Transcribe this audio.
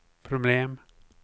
problem